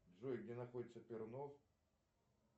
джой где находится пернов